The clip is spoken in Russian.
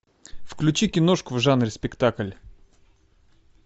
включи киношку в жанре спектакль